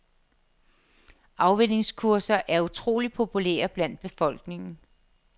Afvænningskurser er utroligt populære blandt befolkningen.